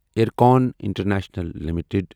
IRCON international limited